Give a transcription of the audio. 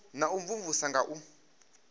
na u imvumvusa nga u